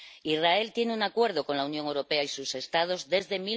Israel tiene un Acuerdo con la Unión Europea y sus Estados desde